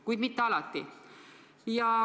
Kuid mitte alati.